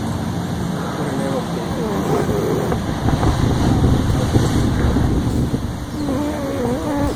ore nairobi naaninye narikito naa kaunti e kilifi eniaabori tepooki